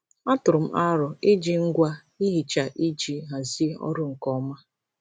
Atụrụ m aro iji ngwa ihicha iji hazie ọrụ nke ọma.